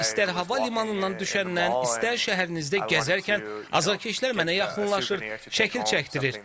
İstər hava limanından düşəndən, istər şəhərinizdə gəzərkən azarkeşlər mənə yaxınlaşır, şəkil çəkdirir.